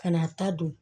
Ka n'a ta don